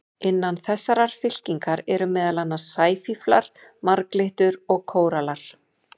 Innan þessarar fylkingar eru meðal annars sæfíflar, marglyttur og kórallar.